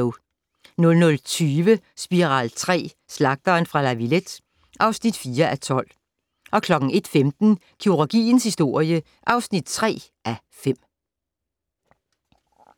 00:20: Spiral III: Slagteren fra La Villette (4:12) 01:15: Kirurgiens historie (3:5)